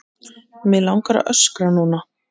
Við því gáfust engin svör.